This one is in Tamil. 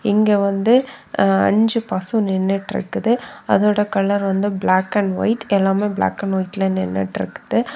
இங்க வந்து அ அஞ்சு பசு நின்னுட்ருக்குது. அதோட கலர் வந்து பிளாக் அண்ட் ஒயிட் . எல்லாமே பிளாக் அண்ட் ஒயிட்ல நின்னுட்டு இருக்குது.